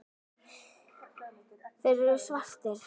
Þeir eru svartir.